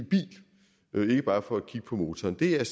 bil ikke bare for at kigge på motoren det er jeg